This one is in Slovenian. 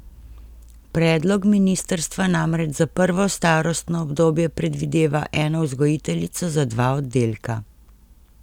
Predlog ministrstva namreč za prvo starostno obdobje predvideva eno vzgojiteljico za dva oddelka.